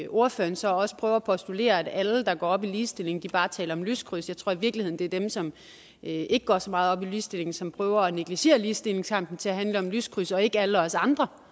ordføreren så også prøver at postulere at alle der går op i ligestilling bare taler om lyskryds jeg tror i virkeligheden at det er dem som ikke går så meget op i ligestilling som prøver at negligere ligestillingskampen til at handle om lyskryds og ikke alle os andre